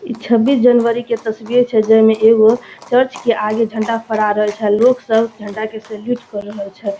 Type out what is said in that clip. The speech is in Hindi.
छब्बीस जनवरी के तस्वीर छै जे मे एगो चर्च के आगे झंडा फहरा रहल छै। लोग सब झण्डा के सेल्यूट कर रहल छै।